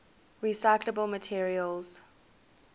recyclable materials